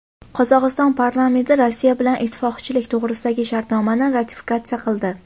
Qozog‘iston parlamenti Rossiya bilan ittifoqchilik to‘g‘risidagi shartnomani ratifikatsiya qildi.